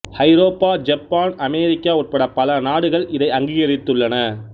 ஐரோப்பா Japan அமெரிக்க உட்பட பல நாடுகள் இதை அங்கிகரித்துள்ளன